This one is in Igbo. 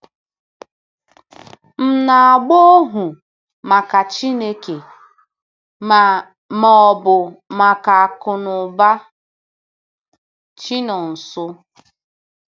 M na-agba ohu maka Chineke ma ma ọ bụ maka Akụnụba? ’- Chinonso.